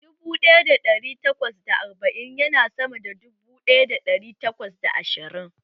Dubu ɗaya da ɗari takwas da arba'in ya na sama da dubu ɗaya da ɗari takwas da ashirin